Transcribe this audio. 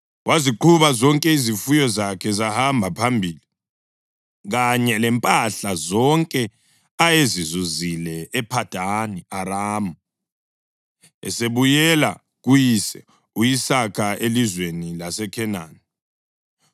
waziqhuba zonke izifuyo zakhe zahamba phambili, kanye lempahla zonke ayezizuzile ePhadani Aramu, esebuyela kuyise u-Isaka elizweni laseKhenani.